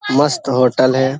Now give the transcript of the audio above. मस्त होटल है।